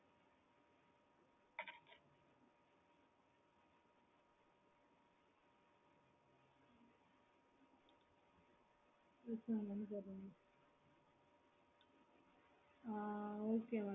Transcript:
எங்களுடைய regular customer ஆக்டிங்கான நீங்க தெண் தோஸண்ட் எடுக்குறீங்கனா நீங்க அவங்களுக்கு தோஸண்ட் ரூபேஷ் குருகுல கொஞ்சம் கூட தோஸண்ட் பைவ் ஹுன்ட்ரேட் அந்த மாரில கம்மி பண்ணி தாராள cash amount நம்கூட கூட நம்ப கம்மி பண்ணி கம்மி பண்ணி தந்துட்டு இருப்பாங்க okay mam